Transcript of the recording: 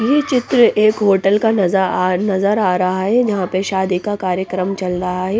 ये चित्र एक होटल का नज आ नजर आ रहा हैं जहाँ पर शादी का कार्यक्रम चल रहा हैं ।